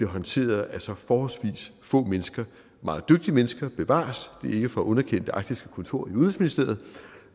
håndteret af så forholdsvis få mennesker meget dygtige mennesker bevares det er ikke for at underkende det arktiske kontor i udenrigsministeriet